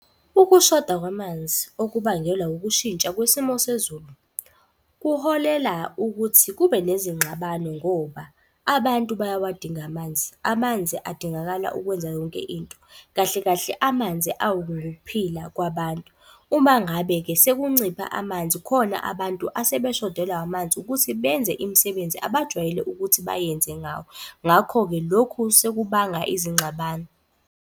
Ukushoda kwamanzi okubangelwa ukushintsha kwesimo sezulu, kuholela ukuthi kube nezingxabano ngoba abantu bayawadinga amanzi. Amanzi adingakala ukwenza yonke into, kahle kahle amanzi ukuphila kwabantu. Uma ngabe-ke sekuncipha amanzi khona abantu asebeshodelwa amanzi. Ukuthi benze imisebenzi abajwayele ukuthi bayenze ngawo, ngakho-ke lokhu sekubanga izingxabano.